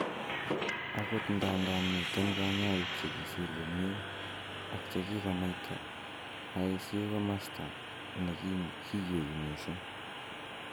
Agot ndandan miten konyoik che kisir komie ak che kikonaita, ICU ko komosto ne kiywei mising